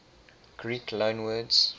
greek loanwords